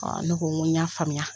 ne ko ŋo y'a faamuya